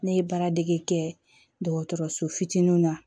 Ne ye baara dege kɛ dɔgɔtɔrɔso fitininw na